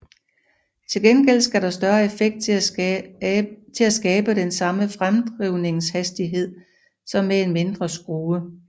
Til gengæld skal der større effekt til at skabe den samme fremdrivningshastighed som med en mindre skrue